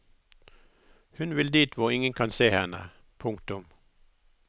Hun vil dit hvor ingen kan se henne. punktum